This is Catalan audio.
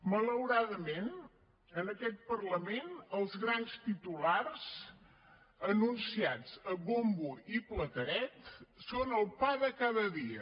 malauradament en aquest parlament els grans titulars anunciats a bombo i plateret són el pa de cada dia